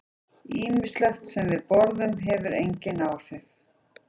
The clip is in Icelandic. Ýmislegt sem við borðum hefur einnig áhrif.